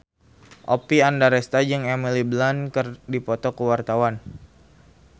Oppie Andaresta jeung Emily Blunt keur dipoto ku wartawan